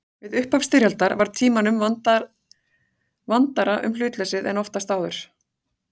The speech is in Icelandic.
Við upphaf styrjaldar var Tímanum vandara um hlutleysið en oftast áður.